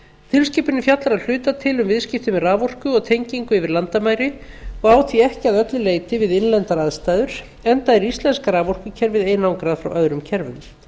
tilskipunin fjallar að hluta til um viðskipti með raforku og tengingu yfir landamæri og á því ekki að öllu leyti við innlendar aðstæður enda er íslenska raforkukerfið einangrað frá öðrum kerfum